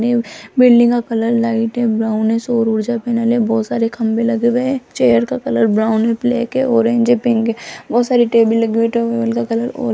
ने बिल्डिंग का colour light है ब्राउन है सौर ऊर्जा पैनल है बहोत सारे खंबे लगे हुए हैं चेयर का कलर ब्राउन है ब्लैक है ऑरेंज है पिंक है बहोत सारी टेबल लगी हुई है टेबल का कलर और --